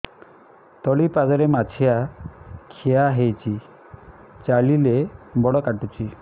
ତଳିପାଦରେ ମାଛିଆ ଖିଆ ହେଇଚି ଚାଲିଲେ ବଡ଼ କାଟୁଚି